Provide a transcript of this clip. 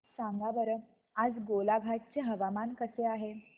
सांगा बरं आज गोलाघाट चे हवामान कसे आहे